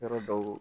Yɔrɔ dɔw